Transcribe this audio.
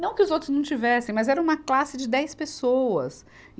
Não que os outros não tivessem, mas era uma classe de dez pessoas.